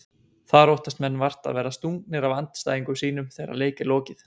Þar óttast menn vart að verða stungnir af andstæðingum sínum þegar leik er lokið.